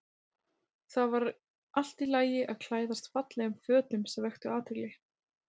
Það var allt í lagi að klæðast fallegum fötum sem vöktu athygli.